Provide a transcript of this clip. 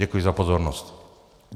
Děkuji za pozornost.